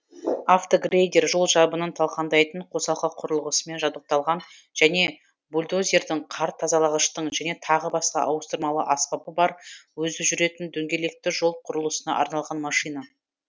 автогрейдер жол жабынын талқандайтын қосалқы құрылғысымен жабдықталған және бульдозердің қар тазалағыштың және тағы басқа ауыстырмалы аспабы бар өзі жүретін дөңгелекті жол құрылысына арналған машина